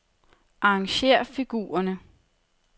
Arrangér figurerne.